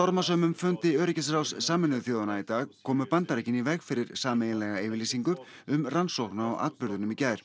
stormasömum fundi öryggisráðs Sameinuðu þjóðanna í dag komu Bandaríkin í veg fyrir sameiginlega yfirlýsingu um rannsókn á atburðunum í gær